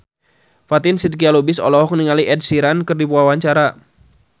Fatin Shidqia Lubis olohok ningali Ed Sheeran keur diwawancara